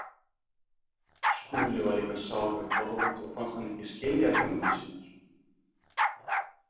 Skúli var líka sár við Þorvald og fannst hann ekki skilja hugmyndir sínar.